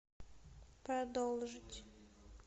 продолжить